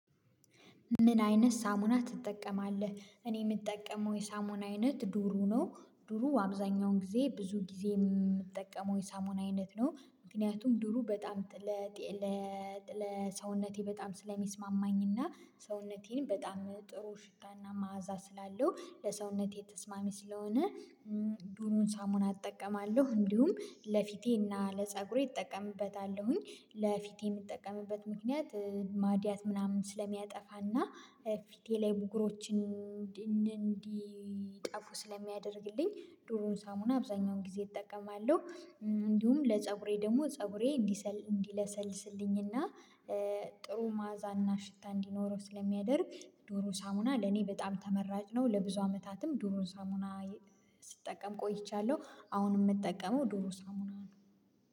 ምን አይነት ሳሙና ትጠቀማለህ? እኔ የምጠቀመው የሳሙና አይነት ዱሩ ነው ዱሩ አብዛኛውን ጊዜ ብዙ ጊዜ የምጠቀመው የሳሙና አይነት ነው። ምክንያቱም ዱሩ በጣም ለሰውነቴ በጣም ስለሚስማማኝ እና ሰውነቴን በጣም ጥሩ ሽታና መዓዛ ስላለው ለሰውነቴ ተስማሚ ስለሆነ ዱሩን ሳሙና እጠቀማለሁ እንዲሁም ለፊቴና ለፀጉሬ እጠቀምበታለሁኝ። ለፊቴ የምጠቀምበት ምክንያት ማድያት ምናምን ስለሚያጠፋና ፊቴ ላይ ቡጉሮችን እንዲጠፉ ስለሚያደርግልኝ ዱሮን ሳሙና አብዛኛውን ጊዜ እጠቀማለሁ። እንዲሁም ለፀጉሬ ደግሞ ፀጉሬ እንዲሰል እንዲለሰልስልኝና ጥሩ ማዕዛና ሽታ እንዲኖረው ስለሚያደርግ ዱሩ ሳሙና ለኔ በጣም ተመራጭ ነው። ለብዙ አመታትም ዱሩ ሳሙና ስጠቀም ቆይቻለሁ አሁን የምጠቀመው ዱሩ ሳሙና ነው